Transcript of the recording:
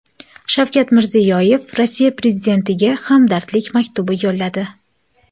Shavkat Mirziyoyev Rossiya prezidentiga hamdardlik maktubi yo‘lladi.